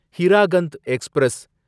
Hirakhand express